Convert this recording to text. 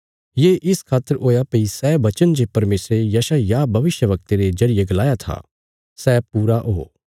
ये इस खातर हुया भई सै बचन जे परमेशरे यशायाह भविष्यवक्ते रे जरिये गलाया था सै पूरा ओ